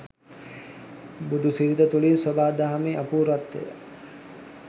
බුදුසිරිත තුළින් සොබා දහමේ අපූර්වත්වය